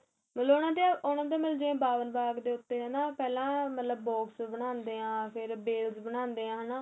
ਮਤਲਬ ਉਹਨਾ ਦੇ ਉਹਨਾ ਦੇ ਬਾਗ ਦੇ ਉਥੇ ਹੈਨਾ ਪਹਿਲਾਂ ਮਤਲਬ box ਬਣਾਦੇ ਹਾਂ ਫ਼ੇਰ ਬੇਲਸ਼ ਬਣਾਦੇ ਏ ਹੈਨਾ